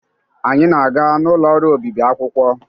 Anyị na-aga n'ụlọ ọrụ obibi akwụkwọ.